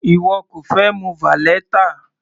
Ìwọ kò fẹ mu valeta?